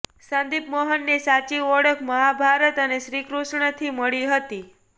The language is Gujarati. સંદીપ મોહનને સાચી ઓળખ મહાભારત અને શ્રીકૃષ્ણથી મળી હતી